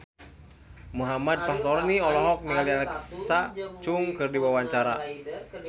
Muhammad Fachroni olohok ningali Alexa Chung keur diwawancara